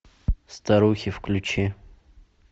старухи включи